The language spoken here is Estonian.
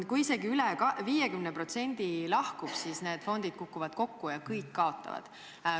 Kui isegi üle 50% lahkub, siis need fondid kukuvad kokku ja kõik kaotavad.